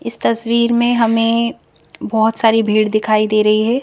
इस तस्वीर में हमें बहोत सारी भीड़ दिखाई दे रही है।